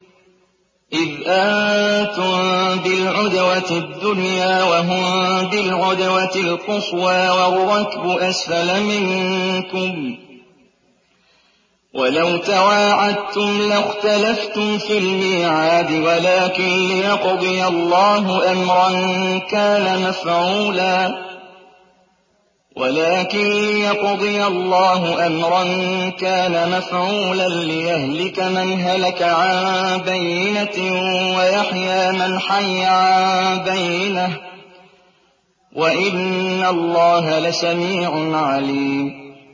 إِذْ أَنتُم بِالْعُدْوَةِ الدُّنْيَا وَهُم بِالْعُدْوَةِ الْقُصْوَىٰ وَالرَّكْبُ أَسْفَلَ مِنكُمْ ۚ وَلَوْ تَوَاعَدتُّمْ لَاخْتَلَفْتُمْ فِي الْمِيعَادِ ۙ وَلَٰكِن لِّيَقْضِيَ اللَّهُ أَمْرًا كَانَ مَفْعُولًا لِّيَهْلِكَ مَنْ هَلَكَ عَن بَيِّنَةٍ وَيَحْيَىٰ مَنْ حَيَّ عَن بَيِّنَةٍ ۗ وَإِنَّ اللَّهَ لَسَمِيعٌ عَلِيمٌ